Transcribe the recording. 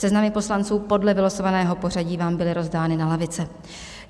Seznamy poslanců podle vylosovaného pořadí vám byly rozdány na lavice.